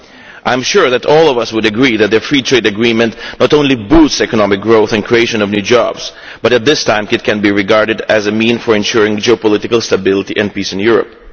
I am sure all of us would agree that the Free Trade Agreement not only boosts economic growth and the creation of new jobs, but at this time can be regarded as a means for ensuring geopolitical stability and peace in Europe.